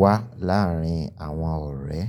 wá láàárín àwọn ọ̀rẹ́.